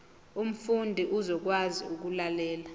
umfundi uzokwazi ukulalela